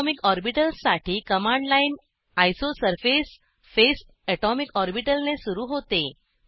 atomic ऑर्बिटल्ससाठी command line isosurface phase atomic orbital ने सुरू होते